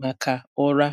maka ụra.